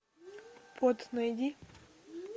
под найди